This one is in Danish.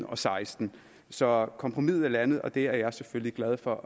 og seksten så kompromiset er landet og det er jeg selvfølgelig glad for